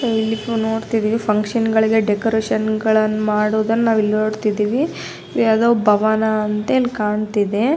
ಇಲ್ಲಿ ನೋಡ್ತಾ ಇದ್ದಿವಿ ಫುನ್ಕ್ಷನ್ ಗಳಿಗೆ ಡೆಕೋರೇಷನ್ ಗಳನ್ನ ಮಾಡೋದನ್ನ ನಾವಿಲ್ಲಿ ನೋಡ್ತಿದೀವಿ. ಯಾವ್ದೋ ಬವನ ಅಂತೇನ್ ಕಾಣ್ತಿದೆ.